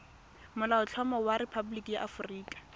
molaotlhomo wa rephaboliki ya aforika